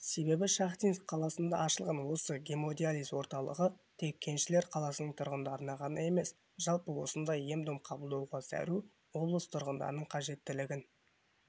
себебі шахтинск қаласында ашылған осы гемодиализ орталығы тек кеншілер қаласының тұрғындарына ғана емес жалпы осындай ем-дом қабылдауға зәру облыс тұрғындарының қажеттілігін